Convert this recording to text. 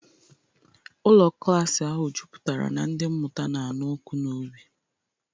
Ụlọ klaasị ahụ juputara na ndị mmụta na-anụ ọkụ n'obi.